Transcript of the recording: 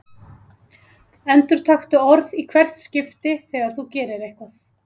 Endurtaktu orð í hvert skipti þegar þú gerir eitthvað.